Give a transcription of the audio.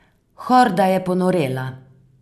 Horda je ponorela.